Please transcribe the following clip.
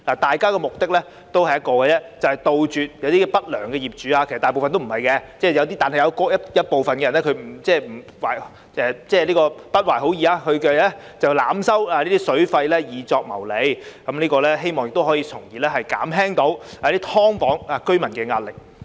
大家的目的只有一個，就是杜絕一些不良業主——其實大部分業主都不是不良業主，但有部分人不懷好意——濫收水費來謀利，希望從而可以減輕"劏房"居民的壓力。